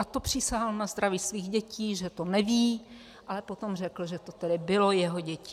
A to přísahal na zdraví svých dětí, že to neví, ale potom řekl, že to tedy bylo jeho dětí.